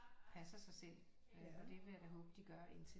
Passer sig selv og det vil jeg da håbe de gør indtil